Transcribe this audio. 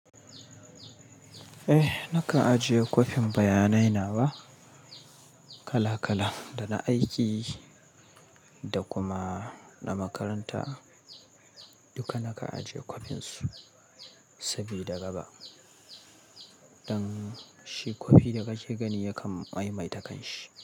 Eh, na ka ajiye kwafin bayanai na ba? Kala-kalan da na aiki da kuma na makaranta duka na ka ajiye kwafin su sabida gaba don shi kwafi da ka je gani yakan mai-mai ta kan shi.